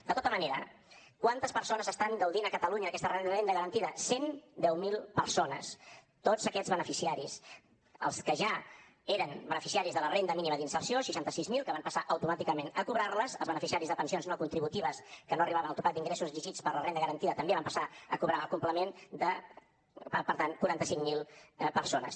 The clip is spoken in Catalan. de tota manera quantes persones estan gaudint a catalunya d’aquesta renda garantida cent deu mil persones tots aquests beneficiaris els que ja eren beneficiaris de la renda mínima d’inserció seixanta sis mil que van passar automàticament a cobrar les els beneficiaris de pensions no contributives que no arribaven al topall d’ingressos exigits per la renda garantida també van passar a cobrar el complement per tant quaranta cinc mil persones